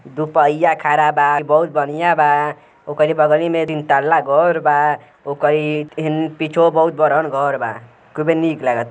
दू पहिया खड़ा बा। बहुत बढ़िया बा। ओकरी बगली में तीन तल्ला घर बा। ओकरी हिं पिछवो बहुत बड़हन घर बा। खूबे निक लागता।